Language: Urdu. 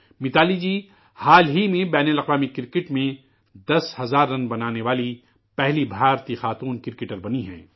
متالی جی، حال ہی میں بین الاقوامی کرکٹ میں دس ہزار رن بنانے والی پہلی ہندوستانی خاتون کرکٹر بنی ہیں